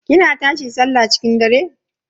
kina tashi sallah cikin dare?